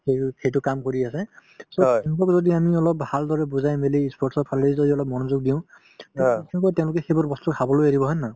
তেওঁলোক সেইটো কাম কৰি আছে so এহেন্তক যদি আমি অলপ ভালদৰে বুজাই মিলি ই sports ৰ ফালে যদি অলপ মনযোগ দিওঁ তেওঁলোকে সেইবোৰ বস্তু খাবলৈ এৰিব হয় নে নহয়